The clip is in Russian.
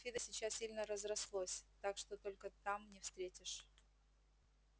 фидо сейчас сильно разрослось так что только там не встретишь